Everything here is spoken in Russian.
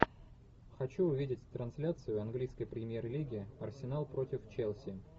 хочу увидеть трансляцию английской премьер лиги арсенал против челси